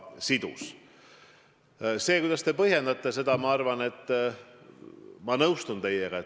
Selles, kuidas te seda põhjendasite, ma nõustun teiega.